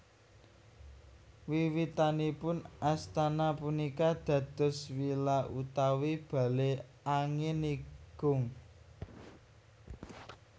Wiwitanipun astana punika dados villa utawi bale angin igung